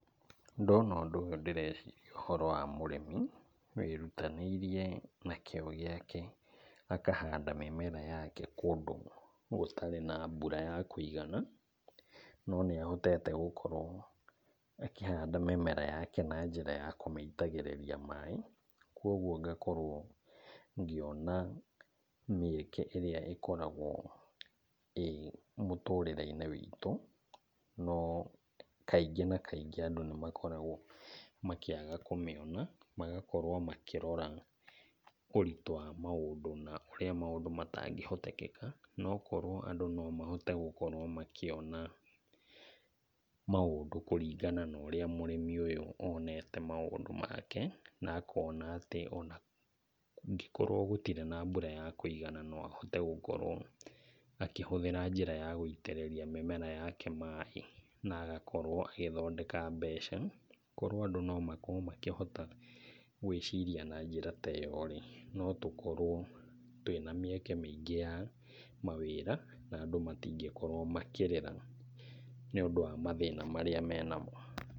Ndona ũndũ ũyũ ndĩreciria ũhoro wa mũrĩmi wĩrutanĩirie na kĩo gĩake akahanda mĩmera yake kũndũ gũtarĩ na mbura ya kũigana, no nĩahotete gũkorwo akĩhanda mĩmera yake na njĩra ya kũmĩitagĩrĩria maĩ. Kuoguo ngakorwo ngĩona mĩeke ĩrĩa ĩkoragwo ĩ mũtũrĩre-inĩ witũ, no kaingĩ na kaigĩ andũ nĩmakoragwo makĩaga kũmĩona, magakorwo makĩrora ũritũ wa maũndũ na ũrĩa maũndũ matangĩhotekeka . No korwo andũ no mahote gũkorwo makĩona maũndũ kũringana na ũrĩa mũrĩmi ũyũ onete maũndũ make na akona atĩ ona kũngĩkorwo gũtirĩ na mbura ya kũigana no ahote gũkorwo akĩhũthĩra njĩra ya gũitĩrĩria mĩmera yake maĩ na agakorwo agĩthondeka mbeca. Korwo andũ no makorwo makĩhota gwĩciria na njĩra ta ĩyo-rĩ, no tũkorwo twĩna mĩeke mĩingĩ ya mawĩra na andũ matingĩkorwo makĩrĩra nĩũndũ wa mathĩna marĩa menamo.